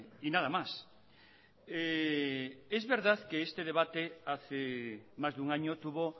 y nada más es verdad que este debate hace más de un año tuvo